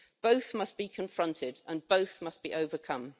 Both must be confronted and both must be overcome.